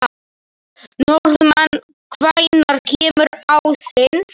Norðmann, hvenær kemur ásinn?